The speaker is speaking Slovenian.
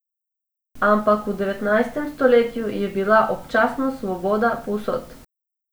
Ampak v devetnajstem stoletju je bila občasno svoboda povsod.